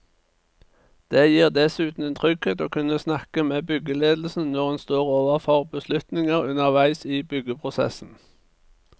Det gir dessuten en trygghet å kunne snakke med byggeledelsen når en står overfor beslutninger underveis i byggeprosessen.